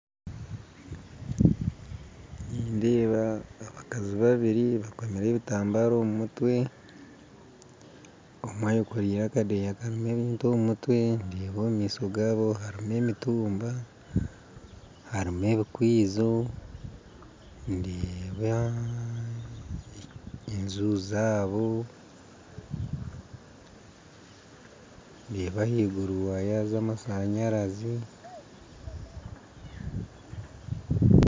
Nindeeba abakazi babiri bekomire ebitambaara omu mutwe omwe ayekoreire akadeya karumu ebintu omu mutwe ndeeba omu maisho gabo harumu emitumba harumu ebikaijo ndeeba enju zabo ndeeba ahaiguru waya z'amashanyarazi .